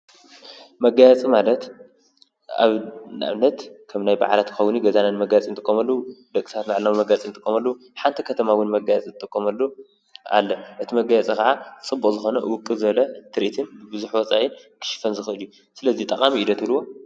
መጋየፂ ማለት ኣብ ንኣብነት ከም ናይይ ባዓላት ክከውን ይክእል እዩ ኣብ ገዛና መጋየፂ እንጥቀመሉ ደቂ ሰባት ባዕልና መጋየፂ እንጥቀመሉ ሓንቲ ከተማ ዉን መጋየፂ እትጥቀመሉ ኣሎ። እቲ መጋየፂ ከዓ ፅቡቅ ዝኮነ ውቅብ ዝበለ ትሪኢትን ቡዙሕ ወፃኢ ክሽፈን ዝክእል እዩ። ስለዚ ጠቃሚ እዩ ዶ ትብልዎ?